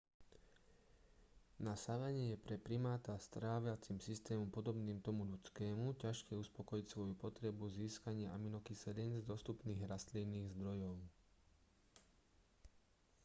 na savane je pre primáta s tráviacim systémom podobným tomu ľudskému ťažké uspokojiť svoju potrebu získania aminokyselín z dostupných rastlinných zdrojov